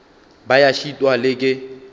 ba ya šitwa le ke